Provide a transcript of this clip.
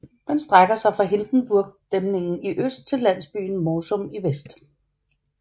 Den strækker sig fra Hindenburgdæmningen i øst til landsbyen Morsum i vest